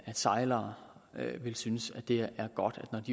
sejlere vil synes at det er godt at